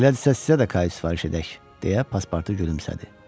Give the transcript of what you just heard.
Elədirsə sizə də kayut sifariş edək, deyə Passportu gülümsədi.